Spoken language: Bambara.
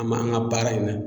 An ma an ka baara in na